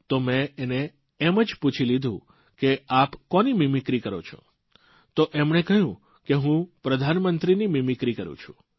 તો મે એને એમ જ પૂછી લીધું કે આપ કોની મીમીક્રી કરો છો તો એમણે કહ્યું કે હું પ્રધાનમંત્રીની મીમીક્રી કરૂં છું